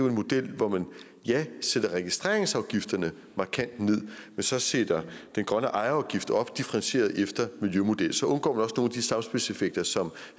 en model hvor man ja sætter registreringsafgiften markant ned men så sætter den grønne ejerafgift op differentieret efter en miljømodel så undgår af de samspilseffekter som